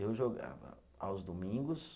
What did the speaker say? Eu jogava aos domingos.